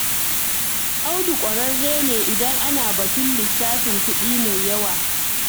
Audu ƙwararre ne idan ana batun lissafin kuɗi mai yawa.